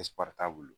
t'a bolo